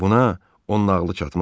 Buna onun nağılı çatmaz.